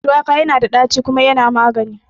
Shuwaka yana da ɗaci kuma yana magani